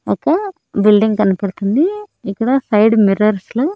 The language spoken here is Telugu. ఒక బిల్డింగ్ కనపడుతుంది ఇక్కడ సైడ్ మిర్రర్స్ లో .